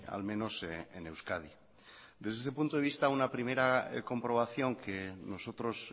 al menos en euskadi desde ese punto de vista una primera comprobación que nosotros